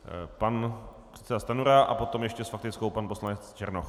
Pan předseda Stanjura a potom ještě s faktickou pan poslanec Černoch.